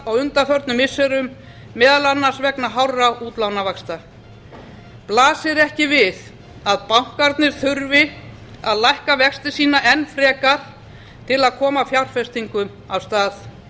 á undanförnum missirum meðal annars vegna hárra útlánsvaxta blasir ekki við að bankarnir þurfi að lækka vexti sína enn frekar til að koma fjárfestingum af stað